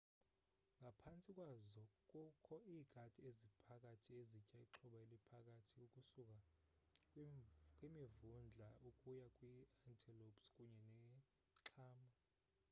ngaphantsi kwazo kukho iikati eziphakathi ezitya ixhoba eliphakathi ukusuka kwimivundla ukuya kwi-antelopes kunye nexhama